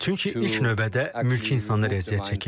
Çünki ilk növbədə mülki insanlar əziyyət çəkir.